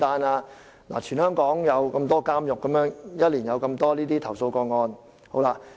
這是全港各個監獄在1年內接收的投訴個案數目。